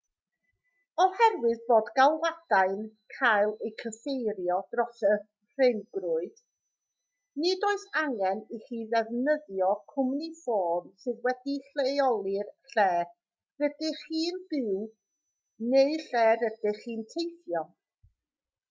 oherwydd bod galwadau'n cael eu cyfeirio dros y rhyngrwyd nid oes angen i chi ddefnyddio cwmni ffôn sydd wedi'i leoli lle rydych chi'n byw neu lle rydych chi'n teithio